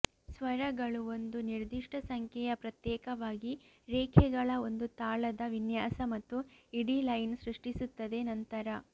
ಸ್ವರಗಳು ಒಂದು ನಿರ್ದಿಷ್ಟ ಸಂಖ್ಯೆಯ ಪ್ರತ್ಯೇಕವಾಗಿ ರೇಖೆಗಳ ಒಂದು ತಾಳದ ವಿನ್ಯಾಸ ಮತ್ತು ಇಡೀ ಲೈನ್ ಸೃಷ್ಟಿಸುತ್ತದೆ ನಂತರ